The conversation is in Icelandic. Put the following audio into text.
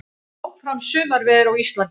Áfram sumarveður á Íslandi